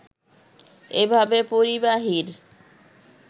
এভাবে পরিবাহীর